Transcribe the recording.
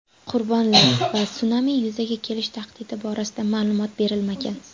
Qurbonlar va sunami yuzaga kelish tahdidi borasida ma’lumot berilmagan.